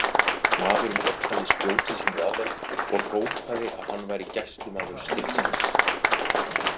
Maðurinn otaði spjóti sínu að þeim og hrópaði að hann væri gæslumaður stígsins.